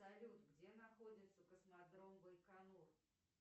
салют где находится космодром байконур